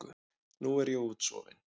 Nú er ég útsofin.